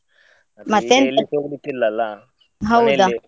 ಹೌದಾ.